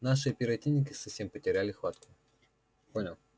наши оперативники совсем потеряли хватку понял